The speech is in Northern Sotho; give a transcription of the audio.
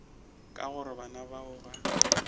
ka gore bana bao ba